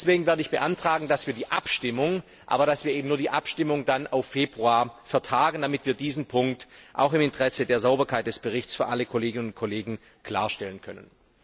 Deswegen werde ich beantragen, dass wir die Abstimmung, aber eben nur die Abstimmung, auf Februar vertagen, damit wir diesen Punkt auch im Interesse der Sauberkeit des Berichts für alle Kolleginnen und Kollegen klarstellen können.